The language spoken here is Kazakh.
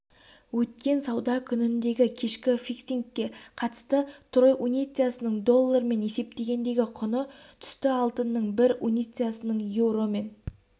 өткен сауда күніндегі кешкі фиксингке қатысты трой унциясының доллармен есептегендегі құны түсті алтынның бір унциясының еуромен